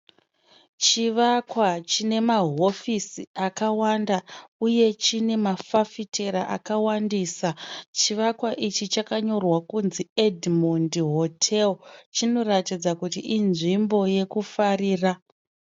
Chivakwa chine mahofisi akawanda uye chine mafafitera akawandisa. Chivakwa ichi chakanyorwa kunzi Edmond Hotel. Chinoratidza kuti inzvimbo yekufarira.